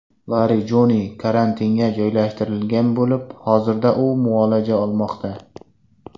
Larijoniy karantinga joylashtirilgan bo‘lib, hozirda u muolaja olmoqda.